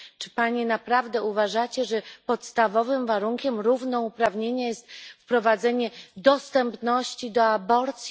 Czy panie naprawdę uważacie, że podstawowym warunkiem równouprawnienia jest wprowadzenie dostępności do aborcji?